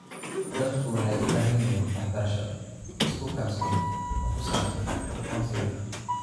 Dadku waxay u baahan yihiin waxbarasho isku kalsoon oo ku saabsan aqoonsiga.